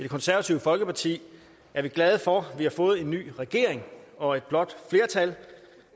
konservative folkeparti er vi glade for vi har fået en ny regering og et blåt flertal